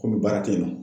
Komi baara tɛ yen nɔ